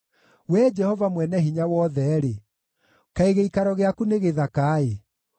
Wee Jehova Mwene-Hinya-Wothe-rĩ, kaĩ gĩikaro gĩaku nĩ gĩthaka-ĩ!